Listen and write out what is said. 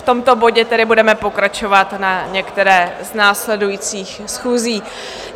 V tomto bodě tedy budeme pokračovat na některé z následujících schůzí.